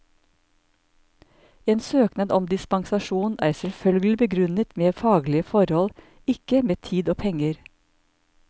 En søknad om dispensasjon er selvfølgelig begrunnet med faglige forhold, ikke med tid og penger.